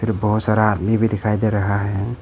बहोत सारा आदमी भी दिखाई दे रहा है।